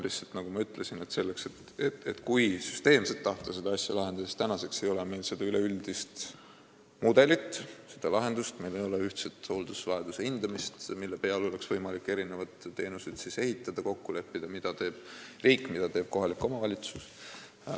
Lihtsalt, nagu ma ütlesin, kui tahta seda asja süsteemselt lahendada, siis tuleb arvestada, et tänaseks ei ole meil üleüldist mudelit, seda lahendust, meil ei ole ühtset hooldusvajaduse hindamist, mille peale oleks võimalik teenuseid ehitada ning kokku leppida, mida teeb riik ja mida teeb kohalik omavalitsus.